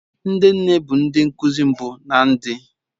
Ndi nne bu ndi nkuzi mmbu na ndi